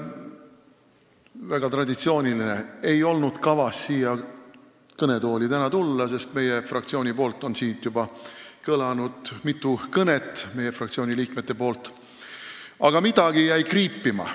Väga traditsiooniline – mul ei olnud kavas täna siia kõnetooli tulla, sest meie fraktsiooni liikmete suust on juba mitu kõnet kõlanud, aga midagi jäi kriipima.